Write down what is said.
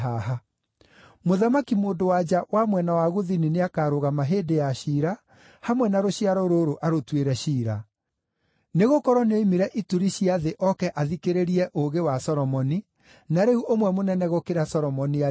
Mũthamaki mũndũ-wa-nja wa mwena wa Gũthini nĩakarũgama hĩndĩ ya ciira hamwe na rũciaro rũrũ arũtuĩre ciira; nĩgũkorwo nĩoimire ituri cia thĩ oke athikĩrĩrie ũũgĩ wa Solomoni, na rĩu ũmwe mũnene gũkĩra Solomoni arĩ haha.